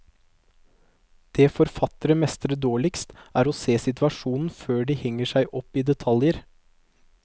Det forfattere mestrer dårligst, er å se situasjonen før de henger seg opp i detaljer.